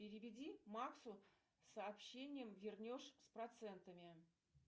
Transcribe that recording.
переведи максу сообщение вернешь с процентами